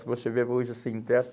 Se você ver hoje os sem teto,